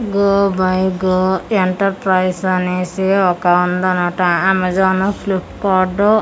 go by go enter price అనేసి ఒక ఉందనమాట అమేజాన్ ఫ్లిప్ కార్డ్ తర్వా--